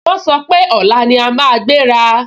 Wọ́n sọ pé, ọ̀la ni a máa gbéra